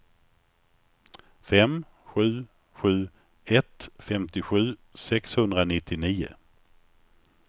fem sju sju ett femtiosju sexhundranittionio